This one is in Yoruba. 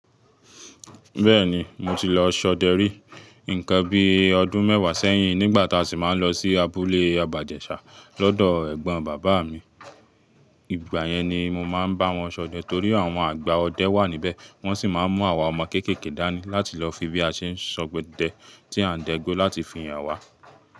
Bẹ́ẹ̀ni, mo ti lọ ṣọ̀dẹ rí. Nǹkan bí ọdún mẹ́wàá sẹ́yìn, nígbà tá a sì máa ń lọ sí abúlé àbájẹ́ṣà lọ́dọ̀ ẹ̀gbọ́n bàbá mi. Ìgbà yẹn ni mo máa ń bá wọn ṣọ̀dẹ torí àwọn àgbà ọdẹ wà níbẹ̀. Wọ́n sì máa ń mú àwa ọmọ kéékèèké dání láti lọ fi bí a ṣe ń ṣọ̀dẹ tí a ń dẹ́gbo láti fi han wa.